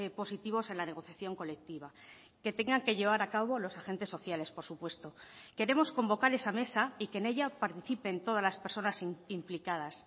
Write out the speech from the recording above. positivos en la negociación colectiva que tengan que llevar a cabo los agentes sociales por supuesto queremos convocar esa mesa y que en ella participen todas las personas implicadas